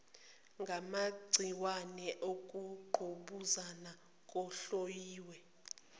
ngamagciwane ukungqubuzana kuhlonyiwe